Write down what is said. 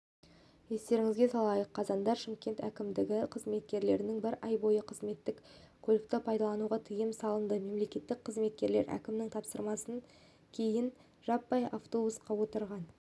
естеріңізге салайық қазанда шымкент әкімдігінің қызметкерлеріне бір ай бойы қызметтік көлікті пайдалануға тыйым салынды мемлекеттік қызметкерлер әкімнің тапсырмасынан кейінжаппай автобусқа отырған